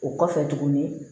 O kɔfɛ tuguni